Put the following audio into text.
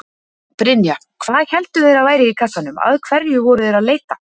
Brynja: Hvað héldu þeir að væri í kassanum, að hverju voru þeir að leita?